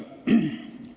...